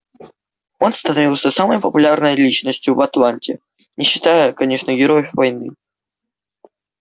он становился самой популярной личностью в атланте не считая конечно героев войны